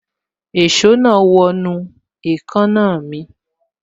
Èso náà wọ inú èékánná mi